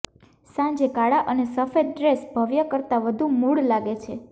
સાંજે કાળા અને સફેદ ડ્રેસ ભવ્ય કરતાં વધુ મૂળ લાગે છે